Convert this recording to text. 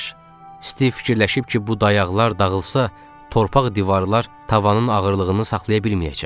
Stiv fikirləşib ki, bu dayaqlar dağılsa, torpaq divarlar tavanın ağırlığını saxlaya bilməyəcək.